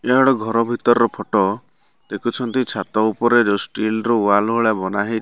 ଏହିଟା ଗୋଟେ ଘର ଭିତର ଫଟୋ ଦେଖୁଛନ୍ତି ଛାତ ଉପରେ ଷ୍ଟିଲର ୱାଲ୍ ଭଲିଆ ବନାହେ --